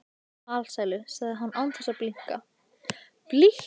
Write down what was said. Alsælu, sagði hann án þess að blikna.